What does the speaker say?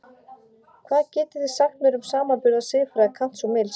Hvað getið þið sagt mér um samanburð á siðfræði Kants og Mills?